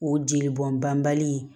O jeli bɔn banbali ye